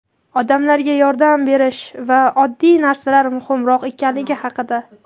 odamlarga yordam berish va oddiy narsalar muhimroq ekanligi haqida.